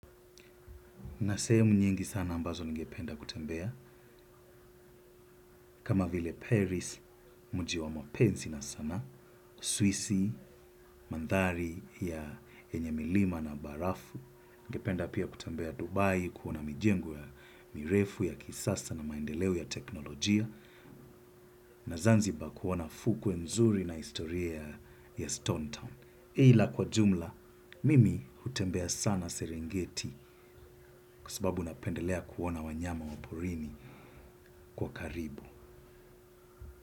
Na sehemu nyingi sana ambazo ningependa kutembea, kama vile Paris, mujiwa mapensi na sana, Suisi, mandhari ya enye milima na barafu, ningependa pia kutembea Dubai, kuona mijengo ya mirefu ya kisasa na maendeleo ya teknolojia, na zanzibar kuona fukue mzuri na istoria ya Stone Town. Eila kwa jumla, mimi hutembea sana serengeti kwa sababu napendelea kuona wanyama waporini kwa karibu.